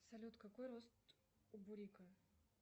салют какой рост у бурика